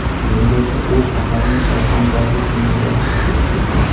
Bungacha u shaharning Shayxontohur tumaniga rahbarlik qilgan.